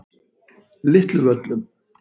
Litlu Völlum